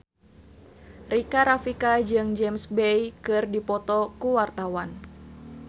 Rika Rafika jeung James Bay keur dipoto ku wartawan